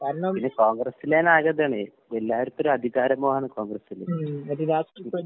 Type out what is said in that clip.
പിന്നെ കോൺഗ്രസിലതിന് ആകെ ഇതാണേ. എല്ലാർക്കുവൊര് അധികാരമോഹാണ് കോൺഗ്രസില്. ഇപ്